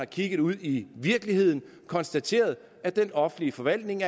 kigget ud i virkeligheden og konstateret at den offentlige forvaltning